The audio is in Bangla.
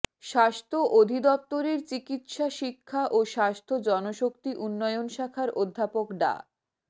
স্বাস্থ্য অধিদফতরের চিকিৎসা শিক্ষা ও স্বাস্থ্য জনশক্তি উন্নয়ন শাখার অধ্যাপক ডা